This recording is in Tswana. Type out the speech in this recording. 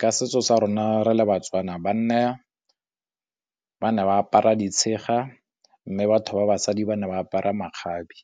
Ka setso sa rona re le ba-Tswana, banna ba ne ba apara ditshega mme batho ba basadi ba ne ba apara makgabe.